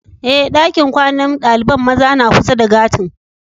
Eh, dakin kwanan dalibain maza na kusa da gati'n.